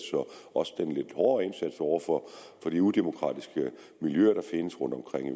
også den lidt hårde indsats over for de udemokratiske miljøer der findes rundtomkring i